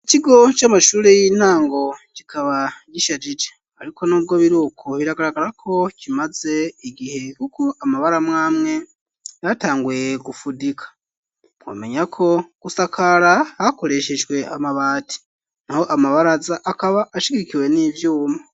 Ikigo c'amashuri y'intango kikaba gishajije ariko nubwo biruko biragaragara ko kimaze igihe kuko amabara amwamwe yatanguye gufudika womenyako gusakara hakoreshejwe amabati naho amabaraza akaba ashigikiwe n'ivyuma.